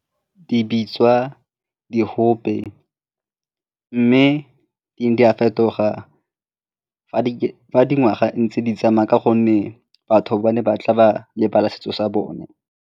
Di bitswa di mme di ne di a fetoga dingwaga fantse di tsamaya ka gonne batho ba ne ba tla ba lebala setso sa bone.